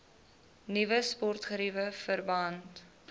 nuwe sportgeriewe verband